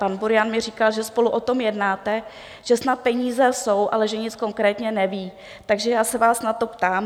Pan Burian mi říkal, že spolu o tom jednáte, že snad peníze jsou, ale že nic konkrétně neví, takže já se vás na to ptám.